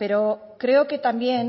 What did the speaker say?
pero creo que también